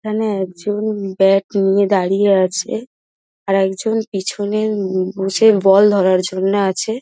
এখানে একজন ব্যাট নিয়ে দাঁড়িয়ে আছে | আরেকজন পিছনে উমম বসে বল ধরার জন্য আছে।